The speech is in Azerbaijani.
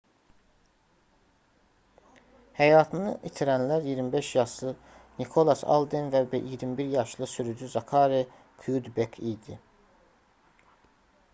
həyatını itirənlər 25 yaşlı nikolas alden və 21 yaşlı sürücü zakari kyudbek idi